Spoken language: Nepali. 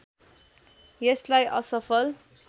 यसलाई असफल